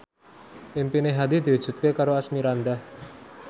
impine Hadi diwujudke karo Asmirandah